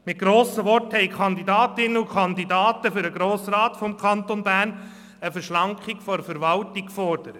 Mit grossen Worten haben Kandidatinnen und Kandidaten für den Grossen Rat des Kantons Bern eine Verschlankung der Verwaltung gefordert.